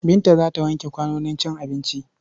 Binta za ta wanke kwanonin cin abinci.